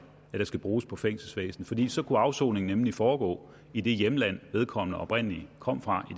at der skal bruges på fængselsvæsenet for så kunne afsoningen nemlig foregå i det hjemland vedkommende oprindelig kom fra